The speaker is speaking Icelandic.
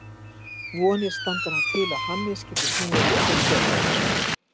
Vonir standa nú til að Hannes geti snúið aftur í febrúar.